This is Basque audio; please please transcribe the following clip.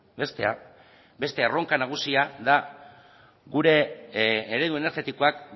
bestea beste erronka nagusia da gure eredu energetikoak